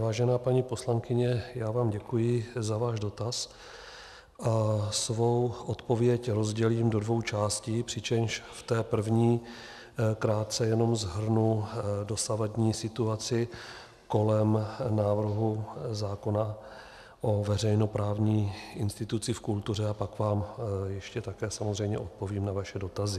Vážená paní poslankyně, já vám děkuji za váš dotaz a svou odpověď rozdělím do dvou částí, přičemž v té první krátce jen shrnu dosavadní situaci kolem návrhu zákona o veřejnoprávní instituci v kultuře a pak vám ještě také samozřejmě odpovím na vaše dotazy.